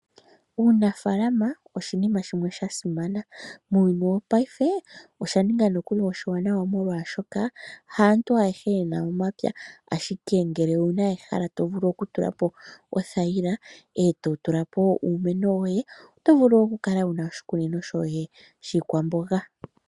Uunafaalama oshinima shimwe shasimana, muuyuni wopayife osha ninga nokuli oshiwanawa molwaashoka haantu ayehe yena omapya ashike ngele owuna ehala to vulu okutula po othayila, eto tula po uumeno woye oto vulu oku kala wuna oshikunino shoye shiikwamboga.